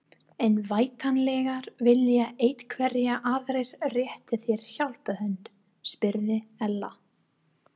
En væntanlega vilja einhverjir aðrir rétta þér hjálparhönd? spurði Ella.